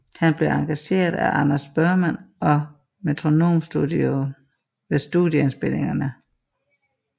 Han blev engageret af Anders Burman og Metronomestudion ved studieindspilninger